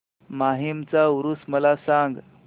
माहीमचा ऊरुस मला सांग